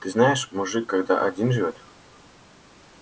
ты знаешь мужик когда один живёт